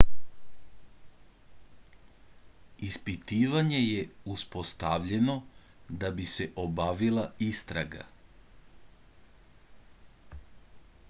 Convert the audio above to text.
ispitivanje je uspostavljeno da bi se obavila istraga